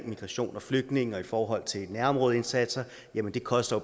migration og flygtninge og i forhold til nærområdeindsatser det koster